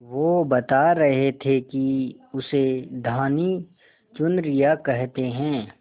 वो बता रहे थे कि उसे धानी चुनरिया कहते हैं